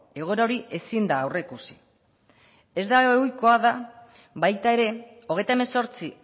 egoera hori ezin da aurreikusi ez da ohikoa da baita ere hogeita hemezortzi